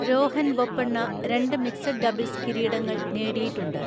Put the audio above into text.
രോഹൻ ബൊപ്പണ്ണ രണ്ട് mixed doubles കിരീടങ്ങൾ നേടിയിട്ടുണ്ട്.